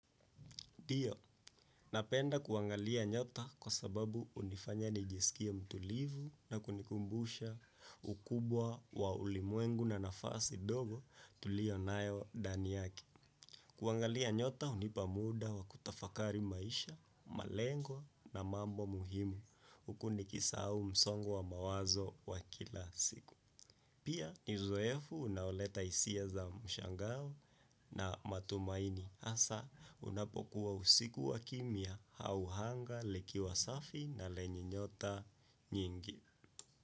Dio, napenda kuangalia nyota kwa sababu unifanya nijisikie mtulivu na kunikumbusha ukubwa wa ulimwengu na nafasi dogo tulionayo dani yaki. Kuangalia nyota hunipa muda wa kutafakari maisha, malengo na mambo muhimu huku nikisahau msongo wamawazo wa kila siku. Pia ni zoefu unaoleta hisia za mshangao na matumaini. Asa unapokuwa usiku wa kimya, hau hanga, likiwa safi na lenye nyota nyingi.